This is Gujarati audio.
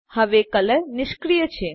હવે કલર નિષ્ક્રિય છે